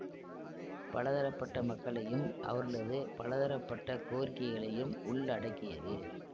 பல தரப்பட்ட மக்களையும் அவர்களது பல தரப்பட்ட கோரிக்கைகளையும் உள்ளடக்கியது